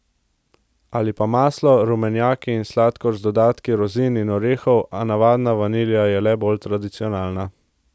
Ali pa maslo, rumenjaki in sladkor z dodatki rozin in orehov, a navadna vanilja je le bolj tradicionalna.